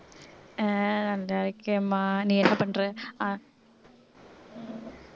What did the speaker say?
அஹ் நல்லா இருக்கேன்மா நீ என்ன பண்ற அஹ்